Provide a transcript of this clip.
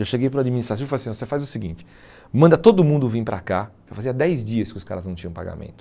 Eu cheguei para o administrativo e falei assim, você faz o seguinte, manda todo mundo vir para cá, já fazia dez dias que os caras não tinham pagamento.